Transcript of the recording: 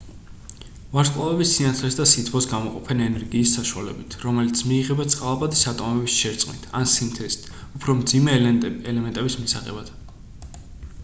ვარსკვლავები სინათლეს და სითბოს გამოყოფენ ენერგიის საშუალებით რომელიც მიიღება წყალბადის ატომების შერწყმით ან სინთეზით უფრო მძიმე ელემენტების მისაღებად